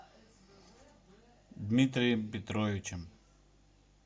дмитрием петровичем